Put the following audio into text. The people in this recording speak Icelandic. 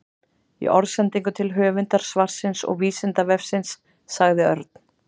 Í orðsendingu til höfundar svarsins og Vísindavefsins sagði Örn: